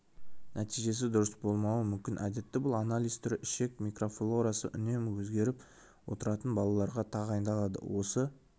нәтижесі дұрыс болмауы мүмкін әдетте бұл анализ түрі ішек микрофлорасы үнемі өзгеріп отыратын балаларға тағайындалады осы